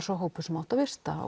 sá hópur sem átti að vista